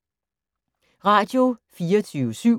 Radio24syv